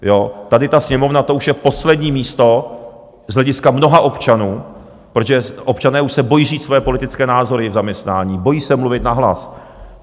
Tady ta Sněmovna, to už je poslední místo z hlediska mnoha občanů, protože občané už se bojí říct své politické názory v zaměstnání, bojí se mluvit nahlas.